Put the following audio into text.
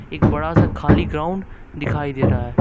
एक बड़ा सा खाली ग्राउंड दिखाई दे रहा।